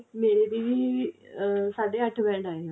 ਮੇਰੇ ਦੀਦੀ ਸਾਢੇ ਅੱਠ band ਆਏ ਨੇ